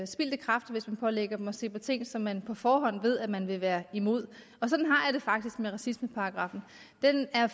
spildte kræfter hvis man pålægger dem at se på ting som man på forhånd ved man vil være imod og sådan har jeg det faktisk med racismeparagraffen den er